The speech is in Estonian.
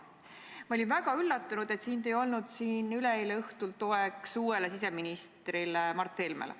Ma olin väga üllatunud, et sind ei olnud siin üleeile õhtul, et olla toeks uuele siseministrile Mart Helmele.